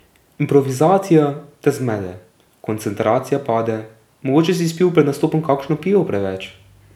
Improvizacija te zmede, koncentracija pade, mogoče si spil pred nastopom kakšno pivo preveč ...